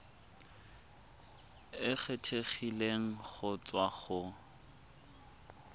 e kgethegileng go tswa go